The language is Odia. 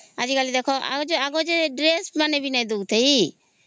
ହେଁ ଆଜି କଲି ଆଗ କାଲେ ଦେଖ ଡ୍ରେସ ମାନେ ଭି ନାଇଁ ଦଉ ଥାଇ